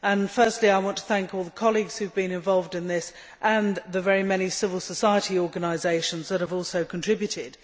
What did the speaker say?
Firstly I want to thank all the colleagues who have been involved in this and the very many civil society organisations that have also contributed.